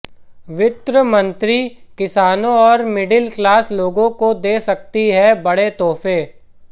वित्त मंत्री किसानों और मिडिल क्लास लोगों को दे सकती हैं बड़े तोहफे